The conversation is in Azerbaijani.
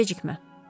Gecikmə.